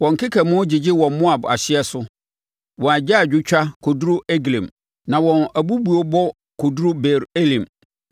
Wɔn nkekamu gyegye wɔ Moab ahyeɛ so; wɔn agyaadwotwa kɔduru Eglaim na wɔn abubuobɔ kɔduru Beer Elim.